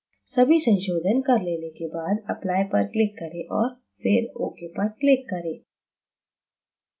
सभी संशोधन कर लेने के बाद apply पर click करें और फिर ok पर click करें